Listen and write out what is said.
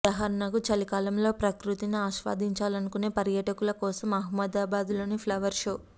ఉదాహరణకు చలికాలంలో ప్రకృతిని ఆస్వాదించాలనుకునే పర్యాటకుల కోసం అహ్మాదాబాద్లోని ఫ్లవర్ షో